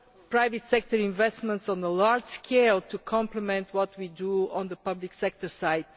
private sector investment on a large scale to complement what we do on the public sector side